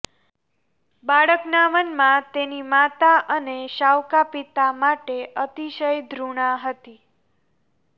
બાળકના મનમાં તેની માતા અને સાવકા પિતા માટે અતિશય ઘૃણા હતી